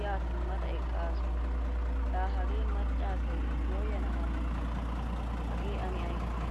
ya simada eqqaasu. La hagge macca asay goyana haniyee? Hagee ane aysee?